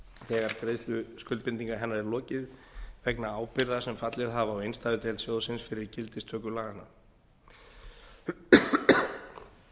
þegar greiðslu skuldbindinga hennar er lokið vegna ábyrgða sem fallið hafa á innstæðudeild sjóðsins fyrir gildistöku laganna